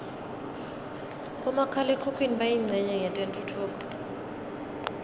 bomakhala khukhwini bayincenye yetentfutfuko